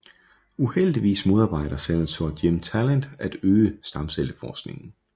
Uheldigvis modarbejder Senator Jim Talent at øge stamcelleforskningen